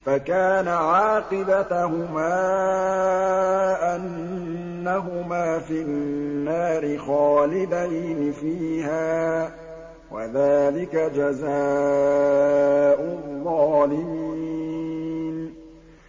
فَكَانَ عَاقِبَتَهُمَا أَنَّهُمَا فِي النَّارِ خَالِدَيْنِ فِيهَا ۚ وَذَٰلِكَ جَزَاءُ الظَّالِمِينَ